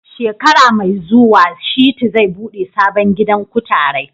Shekara mai zuwa Shitu zai buɗe sabon gidan kutarai.